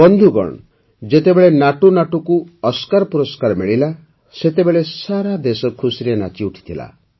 ବନ୍ଧୁଗଣ ଯେତେବେଳେ ନାଟୁନାଟୁକୁ ଓସ୍କାର ପୁରସ୍କାର ମିଳିଲା ସେତେବେଳେ ସାରା ଦେଶ ଖୁସିରେ ନାଚିଉଠିଥିଲା